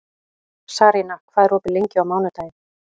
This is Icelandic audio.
Sarína, hvað er opið lengi á mánudaginn?